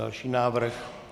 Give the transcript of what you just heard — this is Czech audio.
Další návrh.